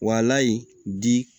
Wa lahala di